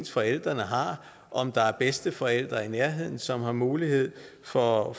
forældrene har og om der er bedsteforældre i nærheden som har mulighed for at